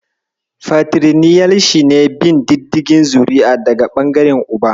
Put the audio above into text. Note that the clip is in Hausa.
Fatiriliniyal shi ne bin diddigin zuri'a daga ɓangaren Uba.